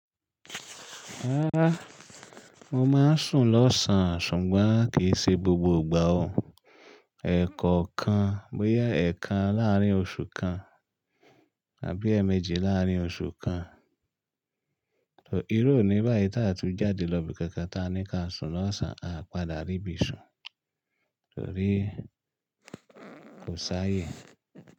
Rárá, mo máa ń sùn lọ́sàn-án ṣùgbọ́n kì í ṣe gbogbo ìgbà o. Ẹ̀kọ̀ọ̀kan, bóyá ẹ̀ kan láàrín oṣù kan àbí ẹ́ẹ̀méjì láàrín oṣù kan. Torí ó ní báyìí tí a tó jáde lọ ibi kankan tí a ní kí a sùn lọ́sàn-án, a padà rí ibi ìsun. Torí kò sáye.